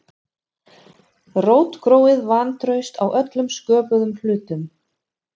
Rótgróið vantraust á öllum sköpuðum hlutum.